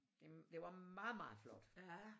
Det det var meget meget flot